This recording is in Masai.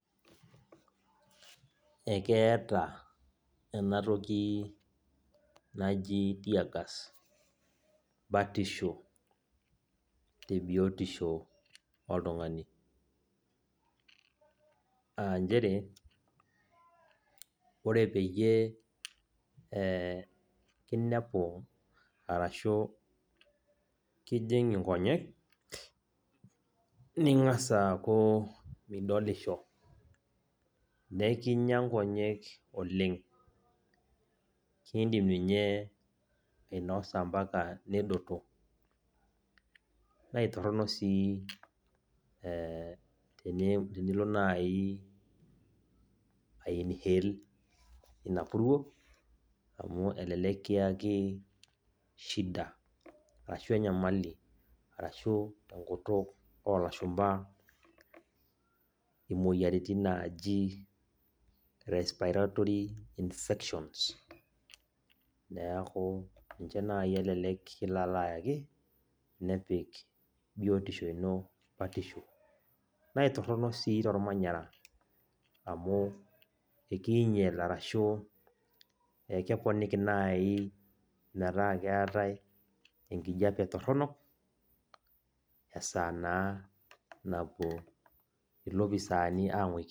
Ekeeta enatoki naji tear gas batisho tebiotisho oltung'ani. Ah njere, ore peyie kinepu arashu kijing' inkonyek, ning'asa aaku midolisho. Nekinya nkonyek oleng. Kidim ninye ainosa mpaka nedoto. Na itorrono si tenilo nai ai inhale ina purruo, amu elelek kiaki shida, arashu enyamali. Arashu tenkutuk olashumpa imoyiaritin naji respiratory infections. Neeku ninche nai elelek kilo alo ayaki, nepik biotisho ino batisho. Naitorrono si tormanyara, amu ekiinyel arashu ekeponiki nai metaa keetae enkijape torronok, esaa naa napuo ilopisaani ang'uiki.